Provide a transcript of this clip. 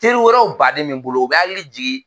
Teri wɛrɛw baden bɛ n bolo u bɛ n hakili jigi